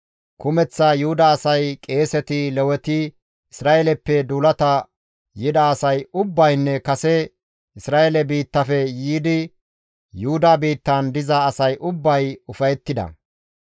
Kumeththa Yuhuda asay, qeeseti, Leweti, Isra7eeleppe duulata yida asay ubbaynne kase Isra7eele biittafe yiidi Yuhuda biittan diza asay ubbay ufayettida.